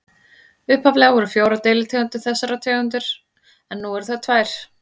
Upphaflega voru fjórar deilitegundir þessarar tegundar en nú eru þær tvær.